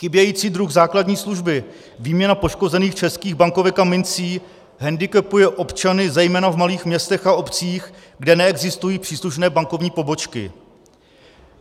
Chybějící druh základní služby, výměna poškozených českých bankovek a mincí, hendikepuje občany zejména v malých městech a obcích, kde neexistují příslušné bankovní pobočky.